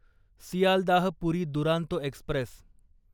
Sealdah Puri Duronto Express